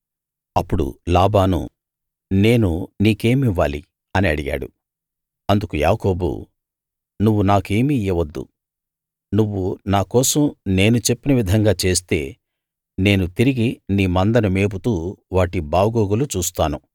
అప్పుడు లాబాను నేను నీకేమివ్వాలి అని అడిగాడు అందుకు యాకోబు నువ్వు నాకేమీ ఇయ్యవద్దు నువ్వు నాకోసం నేను చెప్పిన విధంగా చేస్తే నేను తిరిగి నీ మందను మేపుతూ వాటి బాగోగులు చూస్తాను